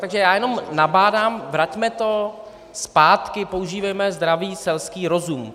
Takže já jenom nabádám: Vraťme to zpátky, používejme zdravý selský rozum!